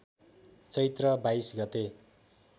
चैत्र २२ गते